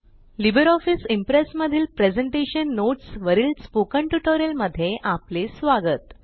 Libre office Impress मधील presentation notes वरील spoken tutorial मध्ये आपले स्वागत